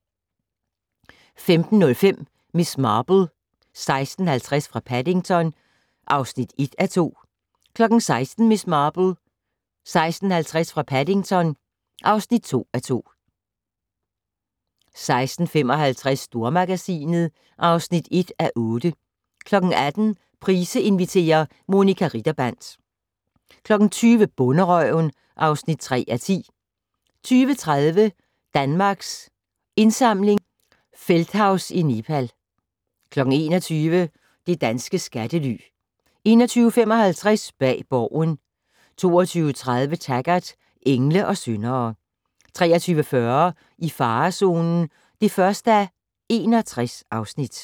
15:05: Miss Marple: 16.50 fra Paddington (1:2) 16:00: Miss Marple: 16.50 fra Paddington (2:2) 16:55: Stormagasinet (1:8) 18:00: Price inviterer - Monica Ritterband 20:00: Bonderøven (3:10) 20:30: Danmarks Indsamling - Feldthaus i Nepal 21:00: Det danske skattely 21:55: Bag Borgen 22:30: Taggart: Engle og syndere 23:40: I farezonen (1:61)